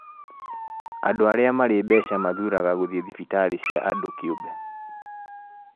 Andũ arĩa marĩ mbeca mathuraga gũthiĩ thibitarĩ cia andũ kĩũmbe